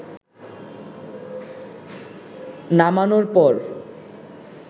নামানোর পর